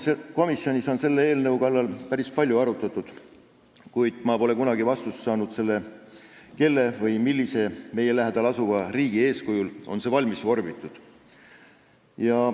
Komisjonis on seda eelnõu päris palju arutatud, kuid ma pole kunagi saanud vastust küsimusele, kelle poolt või millise meie lähedal asuva riigi eeskujul on see valmis vorbitud.